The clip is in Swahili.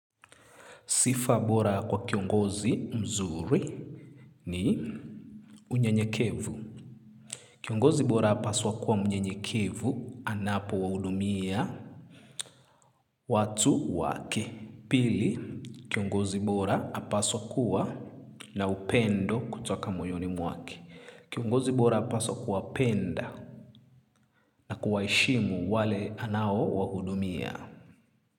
Sifa bora kwa kiongozi mzuri ni unyenyekevu. Kiongozi bora apaswa kuwa mnyenyekevu anapo wahudumia watu wake. Pili, kiongozi bora apaswa kuwa na upendo kutoka moyoni mwake. Kiongozi bora apaswa kuwapenda na kuwaheshimu wale anao wahudumia.